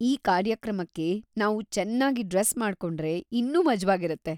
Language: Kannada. ಈ ಕಾರ್ಯಕ್ರಮಕ್ಕೆ ನಾವು ಚೆನ್ನಾಗ್ ಡ್ರೆಸ್‌ ಮಾಡ್ಕೊಂಡ್ರೆ ಇನ್ನೂ ಮಜ್ವಾಗಿರುತ್ತೆ.